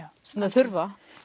þurfa